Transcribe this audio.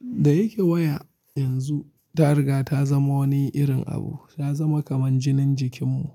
Da yake waya yanzu ta riga ta zama wani irin abu, ta zama kaman jinin jikinmu.